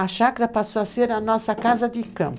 A chácara passou a ser a nossa casa de campo.